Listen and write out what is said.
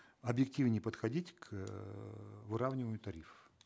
объективней подходить к эээ выравниванию тарифов